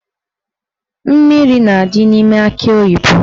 Mmiri na-adị n'ime akị oyibo.